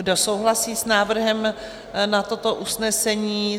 Kdo souhlasí s návrhem na toto usnesení?